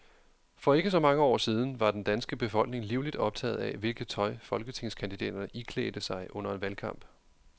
For ikke så mange år siden var den danske befolkning livligt optaget af, hvilket tøj folketingskandidaterne iklædte sig under en valgkamp.